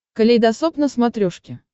калейдосоп на смотрешке